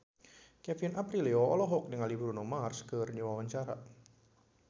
Kevin Aprilio olohok ningali Bruno Mars keur diwawancara